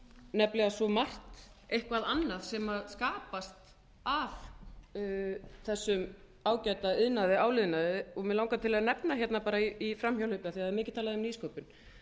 nefnilega svo margt eitthvað annað sem skapast af þessum ágæta iðnaði áliðnaði og mig langar til að nefna hérna í framhjáhlaupi af því það er mikið talað um nýsköpun